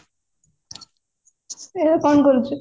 ଏବେ କଣ କରୁଚୁ